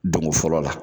Donko fɔlɔ la